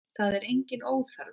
Það er enginn óþarfi.